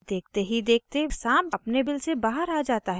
देखते ही देखते साँप अपने बिल के बाहर आ जाता है